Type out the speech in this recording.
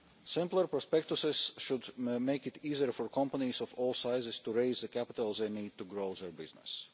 Simpler prospectuses should make it easier for companies of all sizes to raise the capital they need to grow their businesses.